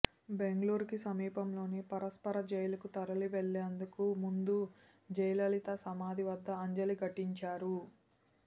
బెంగుళూరుకు సమీపంలోని పరప్పర జైలుకు తరలి వెళ్లేందుకు ముందు జయలిలత సమాధి వద్ద అంజలి ఘటించారు